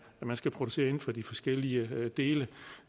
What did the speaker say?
der skal produceres inden for de forskellige dele